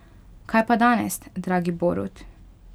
Kaj pa danes, dragi Borut?